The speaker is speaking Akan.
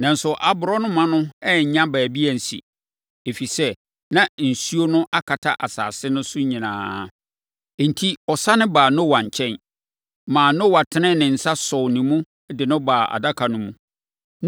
Nanso, aborɔnoma no annya baabi ansi, ɛfiri sɛ, na nsuo no akata asase no so nyinaa. Enti, ɔsane baa Noa nkyɛn, maa Noa tenee ne nsa sɔɔ ne mu de no baa Adaka no mu.